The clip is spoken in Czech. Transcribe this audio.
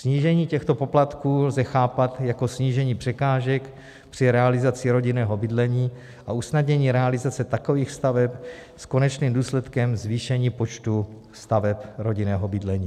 Snížení těchto poplatků lze chápat jako snížení překážek při realizaci rodinného bydlení a usnadnění realizace takových staveb s konečným důsledkem zvýšení počtu staveb rodinného bydlení.